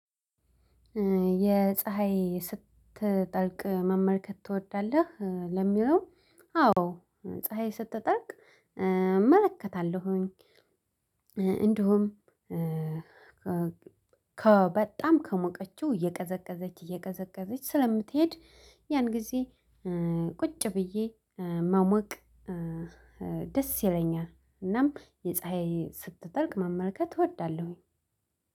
የፀሀይ ስትጠልቅ መመልከት ትወዳለህ? ለሚለው አዎ ፀሀይ ስትጠልቅ እመለከታለሁኝ። እንዲሁም ከበጣም ከሞቀችው እየቀዘቀዘች እየቀዘቀዘች ስለምትሄድ ያን ጊዜ ቁጭ ብዬ መሞቅ። ደስ ይለኛል እናም የፀሀይ ስትጠልቅ መመልከት እወዳለሁኝ።